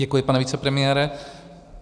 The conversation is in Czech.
Děkuji, pane vicepremiére.